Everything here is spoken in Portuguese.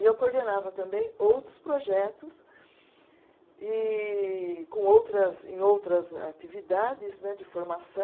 E eu coordenava também outros projetos e com outras, em outras atividades né de formaçã